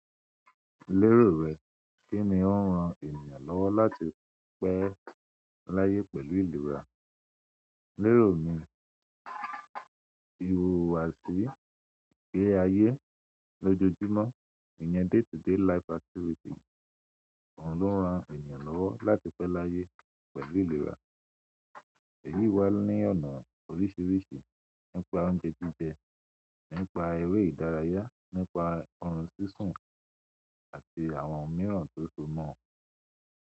Lérò rẹ, kí ni ó ń ran ènìyàn lọ́wọ́ láti pẹ́ láyé pẹ̀lú ìlera? Lérò mi, ìhùwàsí igbé ayé lójoojúmọ́, ìyẹn day-to-day life activity, òun ló ń ran ènìyàn lọ́wọ́ láti pẹ́ láyé pẹ̀lú ìlera. Èyí wá ní ọ̀nà oríṣiríṣi, nípa oúnjẹ jíjẹ, nípa eré ìdárayá, nípa orun sísun àti àwọn òmíràn tó so mọ́.